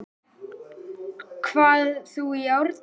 hvað þú í árdaga